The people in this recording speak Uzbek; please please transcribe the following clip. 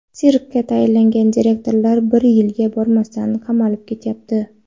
Sirkka tayinlangan direktorlar bir yilga bormasdan qamalib ketyapti.